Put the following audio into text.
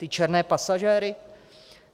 Ty černé pasažéry?